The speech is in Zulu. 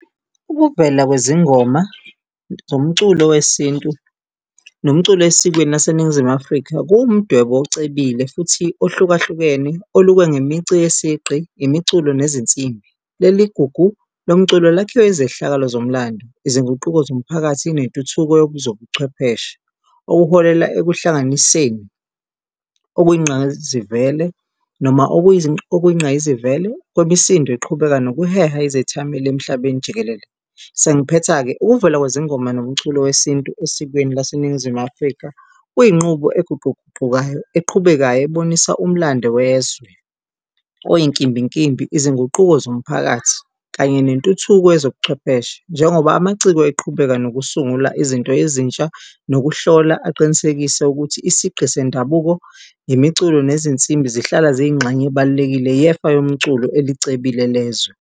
Ukuvela kwezingoma zomculo wesintu nomculo esikweni laseNingizimu Afrika kuwumdwebo ocebile futhi ohlukahlukene, olukwe ngemici yesigqi, imiculo nezinsimbi. Leli gugu lomculo lakhiwe izehlakalo zomlando, izinguquko zomphakathi nentuthuko yobuzobuchwepheshe, okuholela ekuhlanganiseni okuyingqayizivele noma okuyingqayizivele kwemisindo eqhubeka nokuheha izethameli emhlabeni jikelele. Sengiphetha-ke, ukuvela kwezingoma nomculo wesintu esikweni laseNingizimu Afrika kuyinqubo eguquguqukayo, eqhubekayo ebonisa umlando wezwe oyinkimbinkimbi, izinguquko zomphakathi kanye nentuthuko yezobuchwepheshe njengoba amaciko eqhubeka nokusungula izinto ezintsha nokuhlola aqinisekise ukuthi isigqi sendabuko, imiculo nezinsimbi zihlala ziyingxenye ebalulekile yefa yomculo elicebile lezwe.